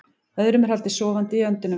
Öðrum er haldið sofandi í öndunarvél